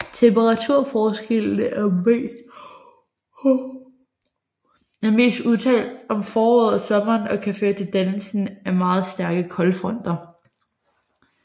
Temperaturforskellen er mest udtalt om foråret og sommeren og kan føre til dannelsen af meget stærke koldfronter